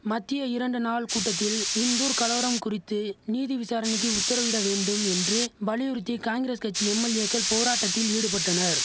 மத்திய இரண்டு நாள் கூட்டத்தில் இந்தூர் கலவரம் குறித்து நீதி விசாரணைக்கு உத்தரவிட வேண்டும் என்று வலியுறுத்தி காங்கிரஸ் கட்சி எம்எல்ஏக்கள் போராட்டத்தில் ஈடுபட்டனர்